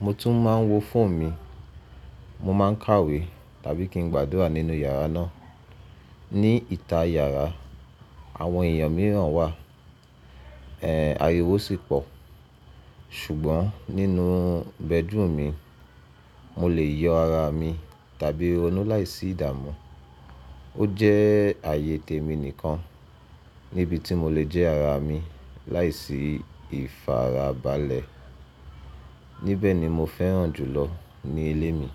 Mo tún máa ń wo fóònù mi, mo máa ń kàwé tàbí kí n gbàdúrà nínú yàrá náà. Ni ìta yàrá, àwọn èèyàn mìíràn wà, ẹ ariwo sì pọ̀. Ṣùgbọ́n nínú bẹ́drúùmu mi mo lè yọ ara mi tàbí ronú láìsí ìdààmú. Ó jẹ́ ààyè tèmi nìkan níbi tí mo lè jẹ́ ara mi láìsí ìfarabalẹ̀. Níbẹ̀ ni mo fẹ́ràn jùlọ ní ilé mi.